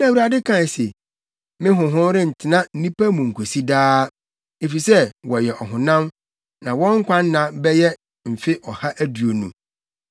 Na Awurade kae se, “Me honhom rentena nnipa mu nkosi daa, efisɛ wɔyɛ ɔhonam; na wɔn nkwa nna bɛyɛ mfe ɔha aduonu.”